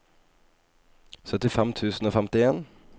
syttifem tusen og femtien